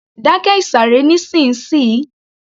Dákẹ́ ìsàré nísìnsiyìí